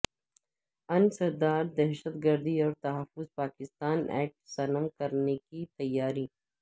انسداد دہشتگردی اور تحفظ پاکستان ایکٹ ضم کرنے کی تیاری